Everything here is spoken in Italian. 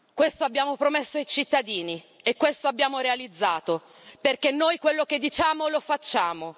Questo abbiamo promesso ai cittadini e questo abbiamo realizzato perché noi quello che diciamo lo facciamo.